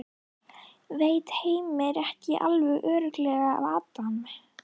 Veit Heimir ekki alveg örugglega af Adam?